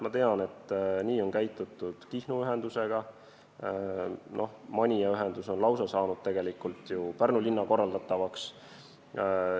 Ma tean, et nii on toimitud Kihnu ühendusega, Manija ühendus on lausa antud Pärnu linna korraldada.